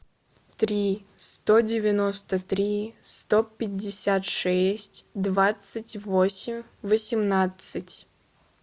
три сто девяносто три сто пятьдесят шесть двадцать восемь восемнадцать